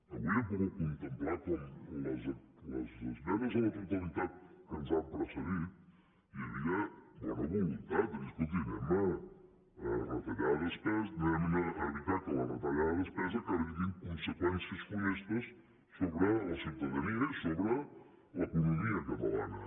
avui hem pogut contemplar com en les esmenes a la totalitat que ens han precedit hi havia bona voluntat de dir escolti evitem que la retallada de despesa acabi tenint conseqüències funestes sobre la ciutadania i sobre l’economia catalana